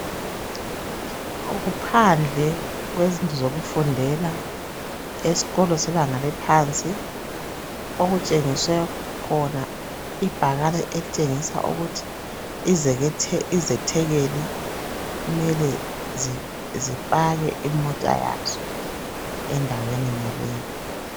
Kuphandle kwezindlu zokufundela esikolo sebanga eliphansi okutshengiswe khona ibhakane elitshengisa ukuthi izethekeli kumele zipake imota yazo endaweni yonaleyi.